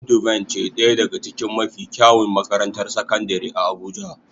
Nudivine ce daya daga cikin mafi kyawun makarantar sakandare a abuja.